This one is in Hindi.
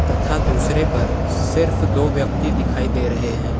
तथा दूसरे पर सिर्फ दो व्यक्ति दिखाई दे रहे हैं।